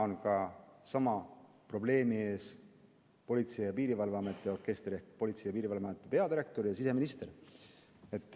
Täna on sama probleemi ees ka Politsei- ja Piirivalveameti orkester ehk Politsei- ja Piirivalveameti peadirektor ja siseminister.